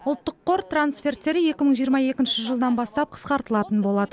ұлттық қор трансферттері екі мың жиырма екінші жылдан бастап қысқартылатын болады